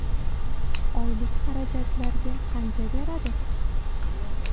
Oylik xarajatlarga qancha beradi?